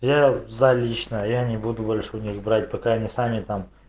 я за лично я не буду больше у них брать пока они сами там